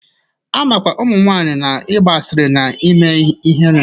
A makwa ụmụnwaanyị na-ịgba asịrị na ime ihere.